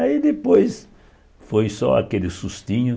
Aí depois foi só aquele sustinho.